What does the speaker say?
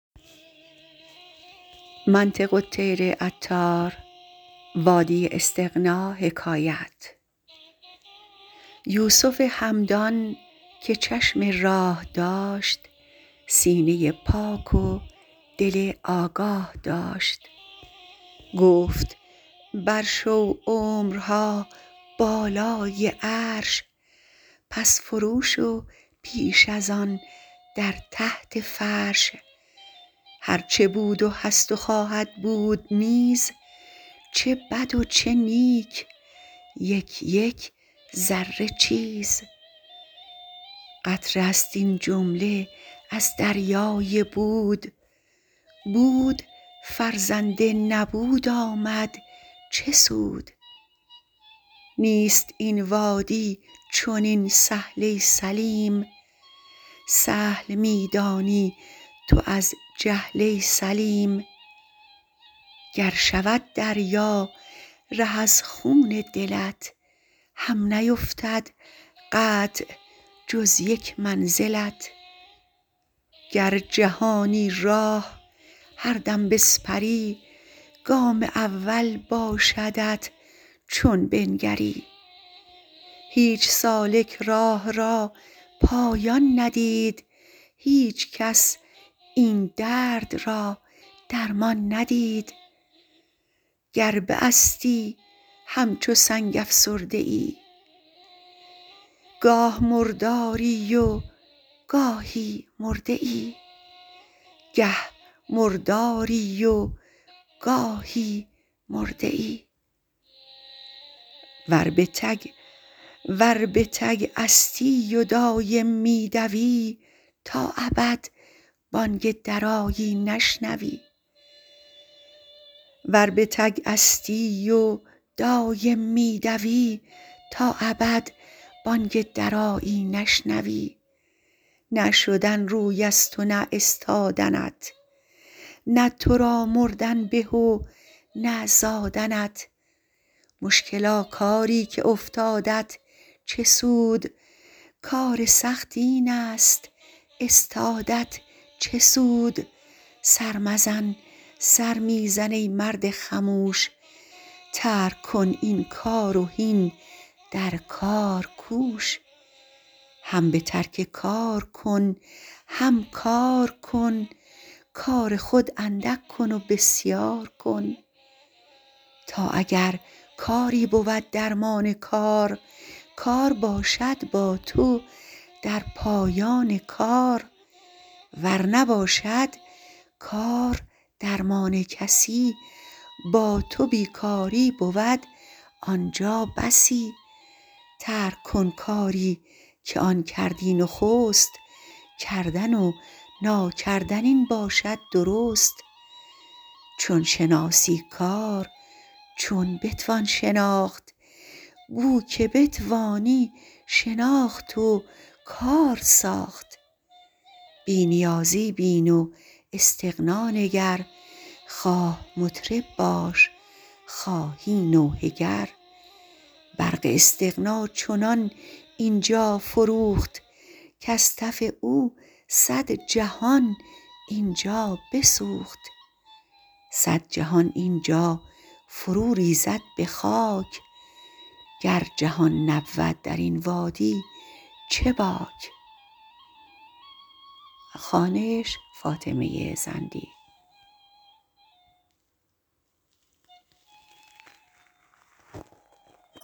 یوسف همدان که چشم راه داشت سینه پاک و دل آگاه داشت گفت بر شو عمرها بالای عرش پس فرو شو پیش از آن در تحت فرش هرچ بود و هست و خواهد بود نیز چه بدو چه نیک یک یک ذره چیز قطره است این جمله از دریای بود بود فرزند نبود آمد چه سود نیست این وادی چنین سهل ای سلیم سهل می دانی تو از جهل ای سلیم گر شود دریا ره از خون دلت هم نیفتد قطع جز یک منزلت گر جهانی راه هر دم بسپری گام اول باشدت چون بنگری هیچ سالک راه را پایان ندید هیچ کس این درد را درمان ندید گر باستی همچو سنگ افسرده ای گه مرداری وگاهی مرده ای ور به تگ استی و دایم می دوی تا ابد بانگ درایی نشنوی نه شدن رویست و نه استادنت نه ترا مردن به و نه زادنت مشکلا کارا که افتادت چه سود کار سخت اینست استادت چه سود سر مزن سر می زن ای مرد خموش ترک کن این کار و هین در کار کوش هم بترک کار کن هم کارکن کار خود اندک کن وبسیارکن تا اگر کاری بود درمان کار کار باشد با تو در پایان کار ور نباشد کار درمان کسی با تو بی کاری بود آنجا بسی ترک کن کاری که آن کردی نخست کردن و ناکردن این باشد درست چون شناسی کار چون بتوان شناخت بوک بتوانی شناخت و کار ساخت بی نیازی بین و استغنا نگر خواه مطرب باش خواهی نوحه گر برق استغنا چنان اینجا فروخت کز تف او صد جهان اینجا بسوخت صد جهان اینجا فرو ریزد به خاک گر جهان نبود درین وادی چه باک